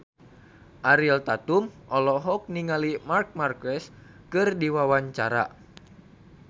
Ariel Tatum olohok ningali Marc Marquez keur diwawancara